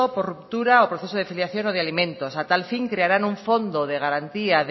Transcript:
por ruptura o proceso de filiación o de alimentos a tal fin crearán un fondo de garantía